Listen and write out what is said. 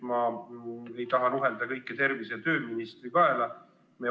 Me ei taha nuhelda kõiki patte tervise- ja tööministri kaela.